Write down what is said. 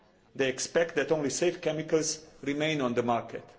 They expect that only safe chemicals remain on the market.